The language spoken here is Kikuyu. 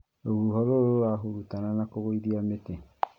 Rũhuho rũru rũrahurutana na kũgũithia mĩtĩ